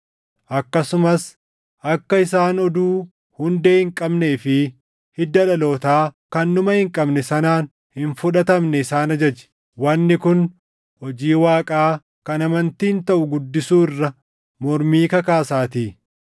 akkasumas akka isaan oduu hundee hin qabnee fi hidda dhalootaa kan dhuma hin qabne sanaan hin fudhatamne isaan ajaji. Wanni kun hojii Waaqaa kan amantiin taʼu guddisuu irra mormii kakaasaatii.